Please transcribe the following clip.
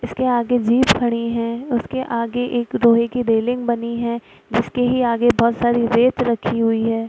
इसके आगे जीप खड़ी है उसके आगे एक लोहे की रेलिंग बनी है जिसके ही आगे बहोत सारी रेत रखी हुई है।